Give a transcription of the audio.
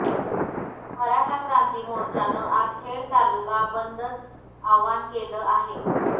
मराठा क्रांती मोर्चानं आज खेड तालुका बंदचं आवाहन केलं आहे